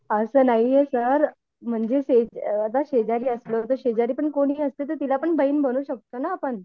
असं नाहीये सर म्हणजे आता शेजारी असणार तर शेजारी जर कोणी असले तर तिला पण बहीण बनवू शकतो ना आपण.